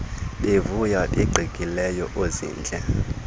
bevuya beqikileka oozintle